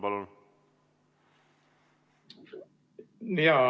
Palun!